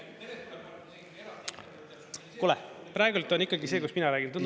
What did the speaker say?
Kuule, praegu on ikkagi see, kus mina räägin.